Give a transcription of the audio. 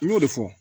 N y'o de fɔ